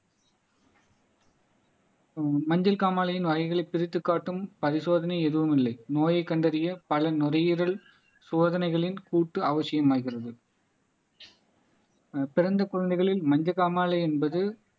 ஆஹ் மஞ்சள் காமாலையின் வகைகளை பிரித்துக் காட்டும் பரிசோதனை எதுவும் இல்லை நோயை கண்டறிய பல நுரையீரல் சோதனைகளின் கூட்டு அவசியமாகிறது ஆஹ் பிறந்த குழந்தைகளில் மஞ்சள் காமாலை என்பது